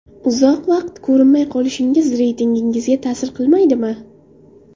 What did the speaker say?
Uzoq vaqt ko‘rinmay qolishingiz reytingingizga ta’sir qilmaydimi?